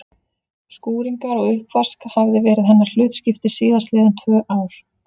Skúringar og uppvask hafði verið hennar hlutskipti síðast liðin tvö ár.